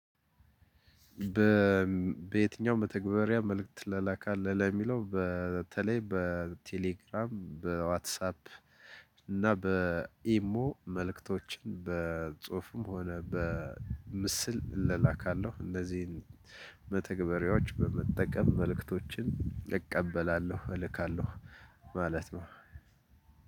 በየትኛው መተግበሪያ መልእክት ትላላካለህ? የሚለው በተለይ በቴሌግራም በዋትሳፕ እና በኢሞ መልእክቶች በጽሁፍም ሆነ በምስል እላላካለው እነዚህን መተግበሪያዎች በመጠቀም መልእክቶችን እቀበላለሁ እልካለሁ። ማለት ነው።